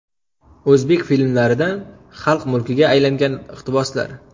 O‘zbek filmlaridan xalq mulkiga aylangan iqtiboslar.